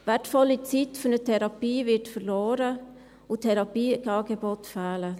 Wertvolle Zeit für eine Therapie geht verloren, und Therapieangebote fehlen.